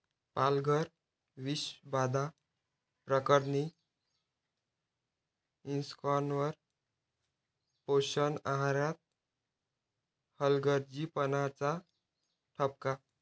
पालघर विषबाधा प्रकरणी इस्कॉनवर पोषण आहारात हलगर्जीपणाचा ठपका